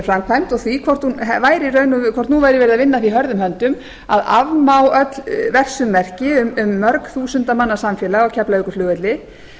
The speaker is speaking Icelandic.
framkvæmd og því hvort nú væri verið að vinna að því hörðum höndum að afmá öll vegsummerki um mörg þúsunda manna samfélag á keflavíkurflugvelli